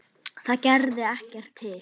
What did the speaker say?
Það gerði ekkert til.